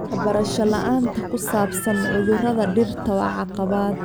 Waxbarasho la'aanta ku saabsan cudurrada dhirta waa caqabad.